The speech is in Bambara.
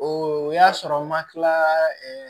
O y'a sɔrɔ n ma kila